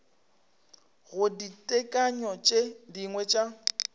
go ditekanyo tše dingwe tša